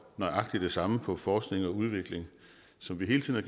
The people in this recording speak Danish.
nøjagtig det samme på forskning og udvikling som vi hele tiden